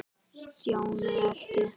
Stjáni elti.